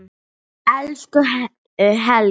Elsku Helgi.